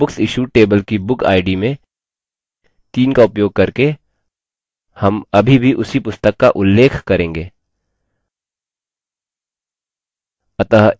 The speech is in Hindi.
तो books issued table की book id में 3 का उपयोग करके हम अभी भी उसी पुस्तक का उल्लेख करेंगे